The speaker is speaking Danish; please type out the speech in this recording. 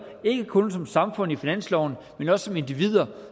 ikke kun som samfund i finansloven men også som individer